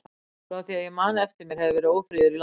Frá því að ég man eftir mér hefur verið ófriður í landinu.